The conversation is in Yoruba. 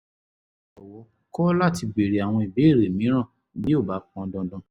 jọ̀wọ́ kọ̀ láti béèrè àwọn ìbéèrè mìíràn bí ó bá pọn dandan